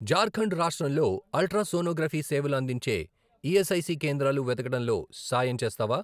ఝార్ఖండ్ రాష్ట్రంలో ultra sonography సేవలు అందించే ఈఎస్ఐసి కేంద్రాలు వెతకడంలో సాయం చేస్తావా?